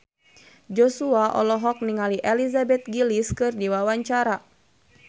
Joshua olohok ningali Elizabeth Gillies keur diwawancara